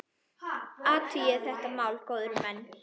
Athugið þetta mál, góðir menn!